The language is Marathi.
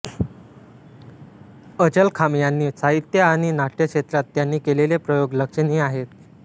अचलखांब यांनी साहित्य आणि नाट्यक्षेत्रात त्यांनी केलेले प्रयोग लक्षणीय आहेत